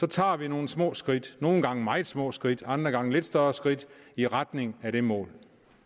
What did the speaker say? tager vi nogle små skridt nogle gange nogle meget små skridt andre gange nogle lidt større skridt i retning af det mål